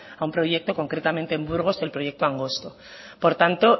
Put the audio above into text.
a un proyecto concretamente en burgos el proyecto angosto por tanto